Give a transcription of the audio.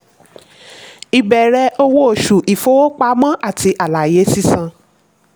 ìbẹ̀rẹ̀ owó oṣù: ìfowópamọ́ plus àlàyé sísan.